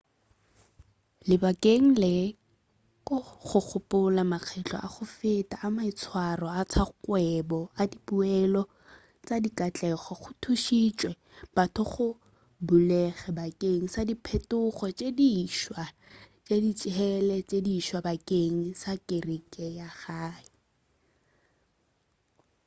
lebakeng le go gopola makgetlo a go feta a maitshwaro a tša kgwebo le dipoelo tša dikatlego go thušitše batho gore ba bulege bakeng sa diphetogo tše diswa le ditsela tše diswa bakeng sa kereke ya gae